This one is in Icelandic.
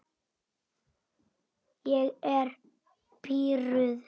Ég er pirruð.